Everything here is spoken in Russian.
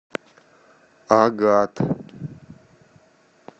агат